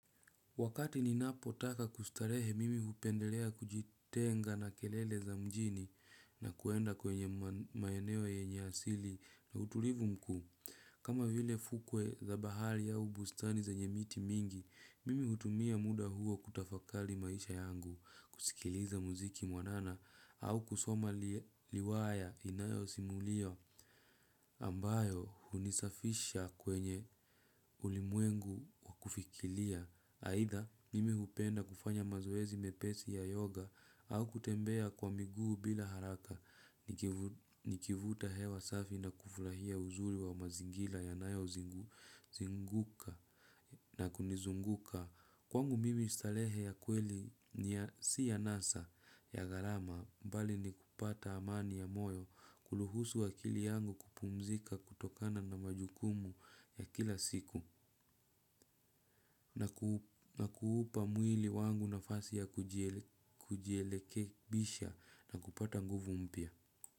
Wakati ninapotaka kustarehe mimi hupendelea kujitenga na kelele za mjini na kuenda kwenye maeneo yenye asili na utulivu mkuu. Kama vile fukwe za bahari au bustani zenye miti mingi, mimi hutumia muda huo kutafakari maisha yangu, kusikiliza muziki mwanana au kusoma riwaya inayosimulia ambayo hunisafisha kwenye ulimwengu wa kufikiria. Aidha, mimi hupenda kufanya mazoezi mepesi ya yoga au kutembea kwa miguu bila haraka. Nikivuta hewa safi na kufurahia uzuri wa mazingira yanayozunguka na kunizunguka. Kwangu mimi starehe ya kweli si anasa ya gharama bali ni kupata amani ya moyo, kuruhusu akili yangu kupumzika kutokana na majukumu ya kila siku. Na kuupa mwili wangu nafasi ya kujirekebisha na kupata nguvu mpya.